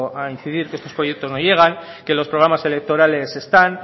a incidir que estos proyectos no llegan que los programas electorales están